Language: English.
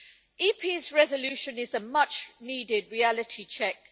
Parliament's resolution is a much needed reality check.